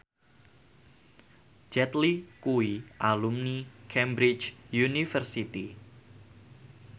Jet Li kuwi alumni Cambridge University